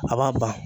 A b'a ban